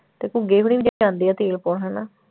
ਤੇ ਘੁੱਗੀ ਹੋਣੀ ਵੀ ਜਾਂਦੇ ਆ ਤੇਲ ਪਾਉਣ ਹਨਾ।